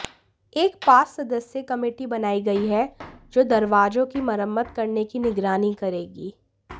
एक पांच सदस्यीय कमेटी बनायी गयी है जो दरवाजों की मरम्मत करने की निगरानी करेगी